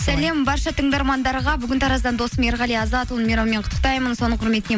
сәлем барша тыңдармандарға бүгін тараздан досым ерғали азатұлы мейрамымен құттықтаймын соның құрметіне